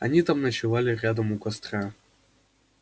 они там ночевали рядом у костра